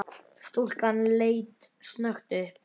Stúlkan leit snöggt upp.